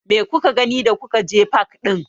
Me kuka gani da kuka je fak ɗin?